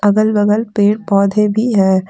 अगल-बगल पेड़ पौधे भी है।